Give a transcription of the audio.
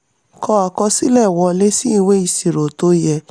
kọ àkọsílẹ̀ wọlé sí ìwé ìṣirò tó yẹ.